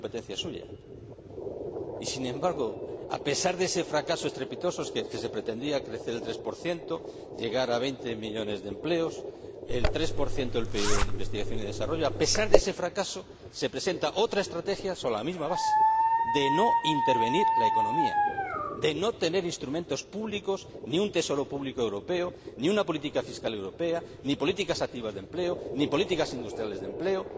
No era competencia suya y, sin embargo, a pesar de ese fracaso estrepitoso —se pretendía crecer el 3 llegar a veinte millones de empleos y destinar el 3 del PIB a investigación y desarrollo—, se presenta otra estrategia sobre la misma base de no intervenir la economía, de no tener instrumentos públicos ni un Tesoro público europeo, ni una política fiscal europea, ni políticas activas de empleo, ni políticas industriales de empleo.